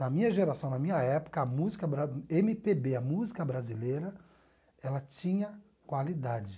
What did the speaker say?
Na minha geração, na minha época, a música bra eme pe bê, a música brasileira, ela tinha qualidade.